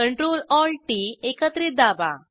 control Alt टीटी एकत्रित दाबा